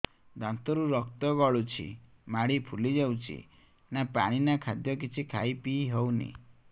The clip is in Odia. ଦାନ୍ତ ରୁ ରକ୍ତ ଗଳୁଛି ମାଢି ଫୁଲି ଯାଉଛି ନା ପାଣି ନା ଖାଦ୍ୟ କିଛି ଖାଇ ପିଇ ହେଉନି